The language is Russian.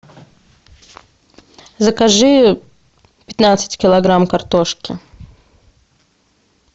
закажи пятнадцать килограмм картошки